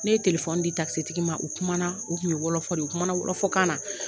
Ne ye di tigi ma, u kuma na, o kun ye wɔlɔfɔ de ye, u kuma na wɔlɔfɔkan na.